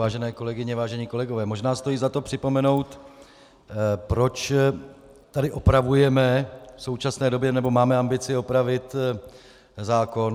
Vážené kolegyně, vážení kolegové, možná stojí za to připomenout, proč tady opravujeme v současné době, nebo máme ambici opravit zákon.